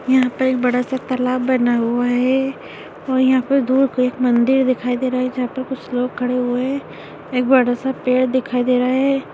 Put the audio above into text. यहाँ पर एक बड़ा सा तालाब बना हुआ है और यहाँ पे दूर को एक मंदिर दिखाई दे रहा है जहाँ पर कुछ लोग खड़े हुए है एक बड़ा सा पड़े दिखाई दे रहा है।